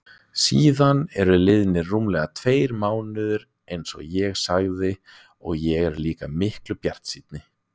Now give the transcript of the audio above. Síðan eru liðnir rúmlega tveir mánuðir einsog ég sagði og ég er líka miklu bjartsýnni.